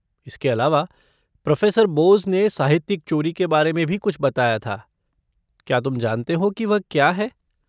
इसके अलावा, प्रोफ़ेसर बोस ने साहित्यिक चोरी के बारे में भी कुछ बताया था, क्या तुम जानते हो कि वह क्या है?